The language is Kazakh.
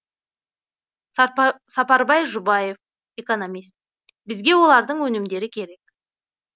сапарбай жұбаев экономист бізге олардың өнімдері керек